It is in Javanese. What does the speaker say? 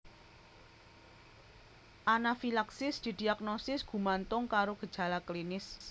Anafilaksis didiagnosis gumantung karo gejala klinis